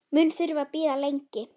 Mun þurfa að bíða lengi.